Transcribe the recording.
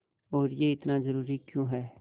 और यह इतना ज़रूरी क्यों है